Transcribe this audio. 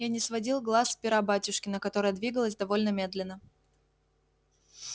я не сводил глаз с пера батюшкина которое двигалось довольно медленно